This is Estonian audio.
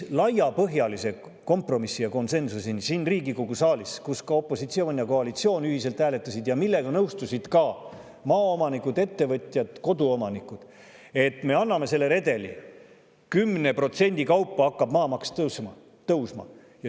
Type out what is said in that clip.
… laiapõhjalise kompromissi ja konsensuseni siin Riigikogu saalis, kus opositsioon ja koalitsioon ühiselt hääletasid ja millega nõustusid ka maaomanikud, ettevõtjad, koduomanikud, et me anname selle redeli: 10% kaupa hakkab maamaks tõusma.